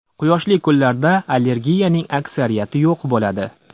Quyoshli kunlarda allergiyaning aksariyati yo‘q bo‘ladi.